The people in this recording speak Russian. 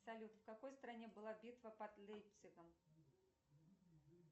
салют в какой стране была битва под лейпцигом